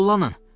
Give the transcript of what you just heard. Tullanın!